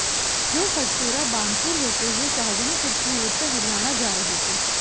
जो हरसोरा बानसूर होते हुए शाहजहांपुर की ओर से हरियाणा जा रहे थे